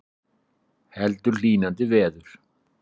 Heldur hlýnandi veður